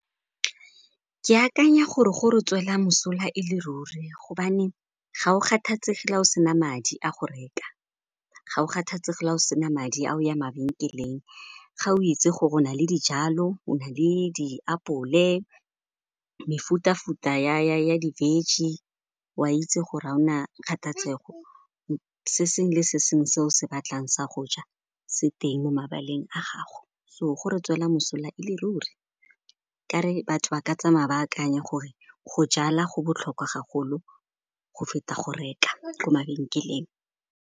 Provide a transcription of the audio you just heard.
Ke akanya gore gore tswela mosola e le ruri gobane ga o kgathatsege la o sena madi a go reka. Ga o kgathetsege la o sena madi a o ya mabenkeleng, ga o itse gore o na le dijalo, o na le diapole mefuta-futa ya di-veg-e, o a itse go o na kgathatsego. Se sengwe le sengwe se o se batlang sa go ja se teng mo mabaleng a gago so go re tswela mosola ele ruri. Kare batho ba ka tsamaya ba akanye gore go jala go botlhokwa gagolo go feta go reka ko mabenkeleng.